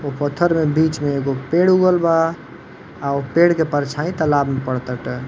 उ पत्थर में बीच में एगो पेड़ उगल बा। आ उ पेड़ के परछाई तालाब में पड़ ताटे।